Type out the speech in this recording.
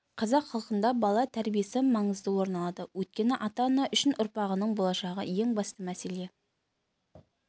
қазақ халқында бала тәрбиесі маңызды орын алады өйткені ата-ана үшін ұрпағының болашағы ең басты мәселе